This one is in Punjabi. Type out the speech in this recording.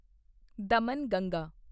ਦਮਨਗੰਗਾ